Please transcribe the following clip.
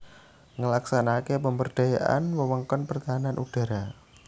Nglaksanakaké pemberdayaan wewengkon pertahanan udhara